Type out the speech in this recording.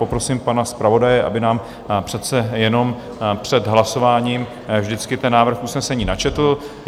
Poprosím pana zpravodaje, aby nám přece jenom před hlasováním vždycky ten návrh usnesení načetl.